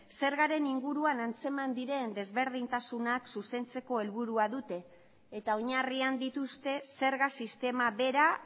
zergaren inguruan antzeman diren desberdintasunak zuzentzeko helburua dute eta oinarrian dituzte zerga sistema bera